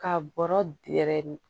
Ka bɔrɔ dɛrɛ